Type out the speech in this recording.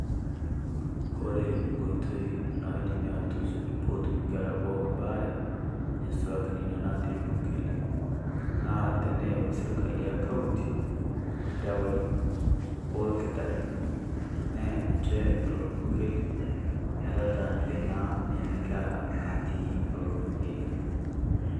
Kore nkotoi naadimi atusuuj peyie etum inkerra pookin ebaare neisulaki nenia natii irpukeli naa teneyau sirkali e kauntii ldawai o ilkitarini niea ninchee olo irpukeli metataniki naa nenia nkerra natii olo irpukeli.